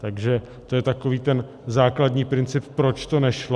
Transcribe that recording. Takže to je takový ten základní princip, proč to nešlo.